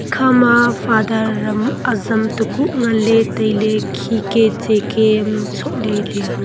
khama father ham azam tekuh nganley tailey khike tsike ham sohley leya.